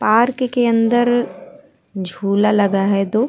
Park के अंदर झूला लगा है दो।